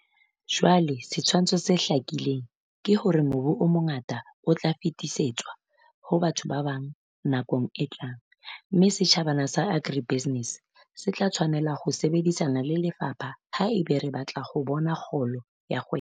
Jwale setshwantsho se hlakileng ke hore mobu o mongata o tla fetisetswa ho batho ba bang nakong e tlang, mme setjhabana sa agribusiness se tla tshwanela ho sebedisana le lefapha ha eba re batla ho bona kgolo ya kgwebo.